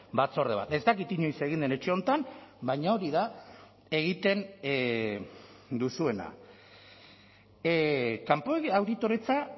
batzorde bat ez dakit inoiz egin den etxe honetan baina hori da egiten duzuena kanpo auditoretza